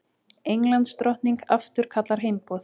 Englandsdrottning afturkallar heimboð